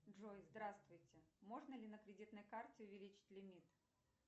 джой здравствуйте можно ли на кредитной карте увеличить лимит